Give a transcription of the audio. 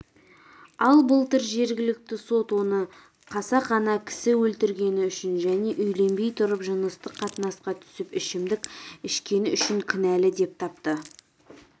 ал былтыр жергілікті сот оны қасақана кісі өлтіргені үшін және үйленбей тұрып жыныстық қатынасқа түсіп ішімдік ішкені үшін кінәлі деп тапты